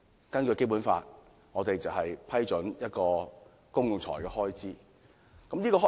根據《基本法》，議員負責批准公共財政開支。